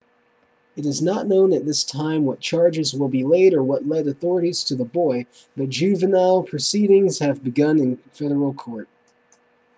it is not known at this time what charges will be laid or what led authorities to the boy but juvenile proceedings have begun in federal court